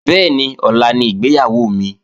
Bẹ́ẹ̀ni, ọ̀la ni ìgbéyàwó mi